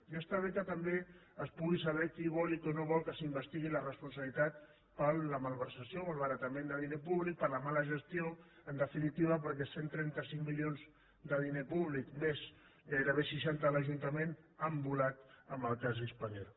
ja està bé que també es pugui saber qui vol i qui no vol que s’investigui la responsabilitat per la malversació o el malbaratament de diner públic per la mala gestió en definitiva perquè cent i trenta cinc milions de diner públic més gairebé seixanta a l’ajuntament han volat amb el cas spanair